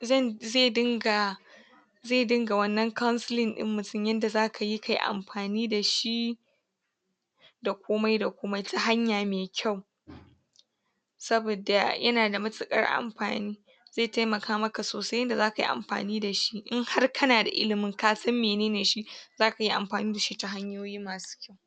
zai dinga zai dinga wannan counseling ɗin mutum yadda zaka yi ka yi amfani da shi da komai da komai ta hanya mai kyau saboda yana da matuƙar amfani zai taimaka maka sosai yadda zaka yi amfani da shi in har kana da ilimin kasan mene ne shi zaka yi amfani da shi ta hanyoyi masu kyau.